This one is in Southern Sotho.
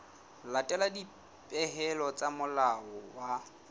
latela dipehelo tsa molao wa